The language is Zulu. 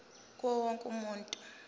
kuwo wonke umuntu